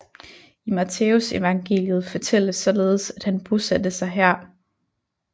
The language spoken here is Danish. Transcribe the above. I Matthæusevangeliet fortælles således at han bosatte sig her